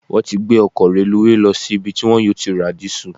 Wọ́n ti gbé ọkọ̀ reluwé lọ sí ibi tí wọ́n yóò ti ra dìísù.